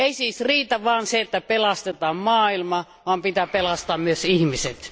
Ei siis riitä, että pelastetaan maailma, vaan pitää pelastaa myös ihmiset.